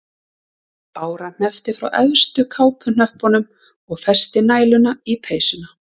Bára hneppti frá efstu kápuhnöppunum og festi næluna í peysuna